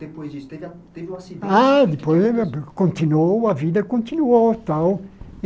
Depois disso, teve a teve o acidente... Ah, depois... Continuou, a vida continuou tal.